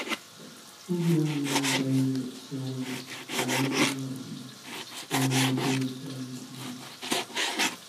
Ọ̀bì anyị agaghị echewe banyere um omume dị ọcha n’enweghị nduzi.